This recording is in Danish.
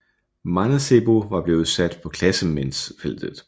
Mancebo var blevet sat i klassementsfeltet